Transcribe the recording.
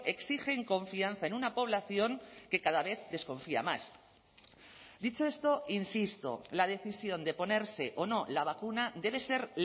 exigen confianza en una población que cada vez desconfía más dicho esto insisto la decisión de ponerse o no la vacuna debe ser